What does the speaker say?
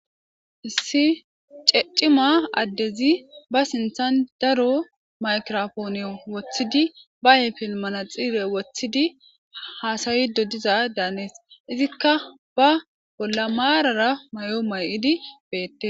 Issi cima addezi ba sinththan daro migraphoniyo woththidi ba ayfen manatsire woththidi haasayiidde diza7addane hanees; izikka ba bolla maarara mayo may7idi beeththes.